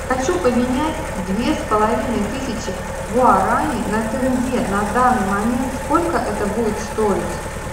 хочу поменять две с половиной тысячи гуарани на тенге на данный момент сколько это будет стоить